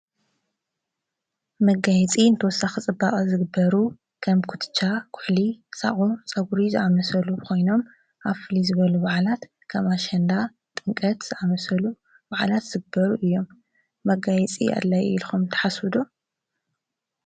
መጋይጺ እንተወሳ ኽጽባዖ ዝግበሩ ኸም ኲትሻ ዂሕሊ ሳቝ ፀጕሪ ዝዕመሰሉ ኾይኖም ኣፍሊ ዝበሉ ባዓላት ቀማሸንና ጥንቀት ኣመሰሉ ባዕላት ዘግበሩ እዮም መጋይጺ ኣለይ ኢልኹም ተሓሱዱ።